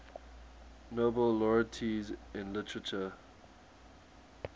nobel laureates in literature